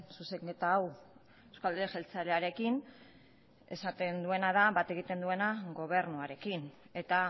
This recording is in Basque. zuzenketa hau euzko alderdi jeltzalearekin bat egiten duena gobernuarekin eta